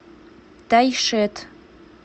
тайшет